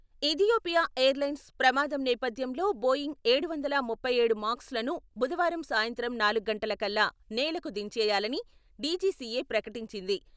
Ethiopia airlines ప్రమాదం నేపథ్యంలో Boeing ఏడు వందల ముప్పై ఏడు మాక్స్లను బుధవారం సాయంత్రం నాలుగు గంటల కల్లా నేలకు దించేయాలని డీజీసీఏ ప్రకటి చింది.